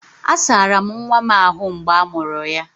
A asara'm nwa m ahu mgbe a mụrụ ya